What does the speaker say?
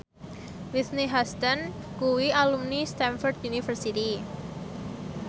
Whitney Houston kuwi alumni Stamford University